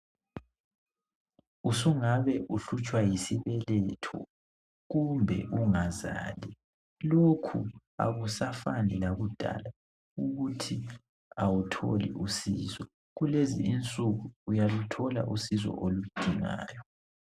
Usungabe uhlutshwa yisibeletho kumbe ungazali .Lokhu akusafani lakudala ukuthi awutholi usizo .Kulezi insuku uyaluthola usizo oludingayo .